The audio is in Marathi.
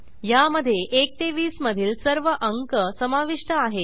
ह्यामधे 1 ते 20 मधील सर्व अंक समाविष्ट आहेत